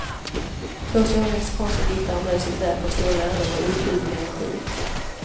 Två stora mexikanska diktare möts i ett verk av stor lärdom och okuvlig energi.